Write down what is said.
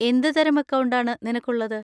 എന്തുതരം അക്കൗണ്ട് ആണ് നിനക്കുള്ളത്?